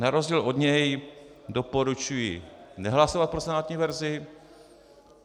Na rozdíl od něj doporučuji nehlasovat pro senátní verzi.